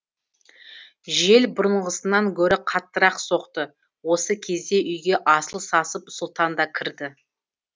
жел бұрынғысынан гөрі қаттырақ соқты осы кезде үйге асыл сасып сұлтан да кірді